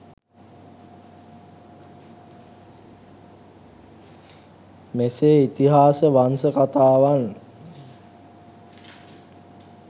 මෙසේ ඉතිහාස වංස කතාවන්